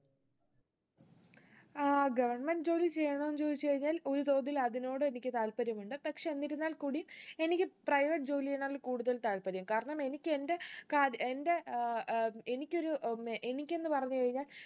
ഏർ government ജോലി ചെയ്യണോന്ന് ചോദിച്ച് കഴിഞ്ഞാൽ ഒരു തോതിൽ അതിനോടും എനിക്ക് താല്പര്യമുണ്ട് പക്ഷെ എന്തിരുന്നാൽ കൂടി എനിക്ക് private ജോലിയിലാണ് കൂടുതൽ താല്പര്യം കാരണം എനിക്ക് എന്റെ കാത് എന്റെ ഏർ ഏർ എനിക്കൊരു ഏർ ഉം എനിക്കെന്ന് പറഞ്ഞ് കഴിഞ്ഞാ